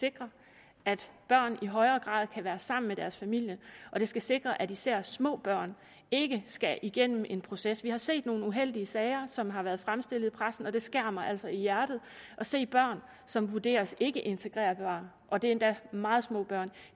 sikre at børn i højere grad kan være sammen med deres familier og det skal sikre at især små børn ikke skal igennem en proces vi har set nogle uheldige sager som har været fremstillet i pressen og det skærer mig altså i hjertet at se børn som vurderes ikkeintegrerbare og det er endda meget små børn